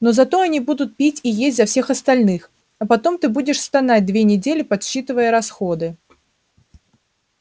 но зато они будут пить и есть за всех остальных а потом ты будешь стонать две недели подсчитывая расходы